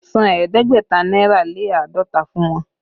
San ẹ̀ẹ́dẹ́gbẹ̀ta náírà lé àádọ́ta fún wọn!